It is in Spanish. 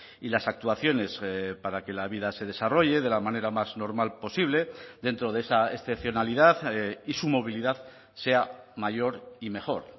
y las actuaciones para que la vida se desarrolle de la manera más normal posible dentro de esa excepcionalidad y su movilidad sea mayor y mejor